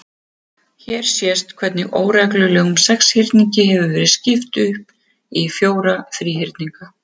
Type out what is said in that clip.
Hér sést hvernig óreglulegum sexhyrningi hefur verið skipt upp í fjóra þríhyrninga.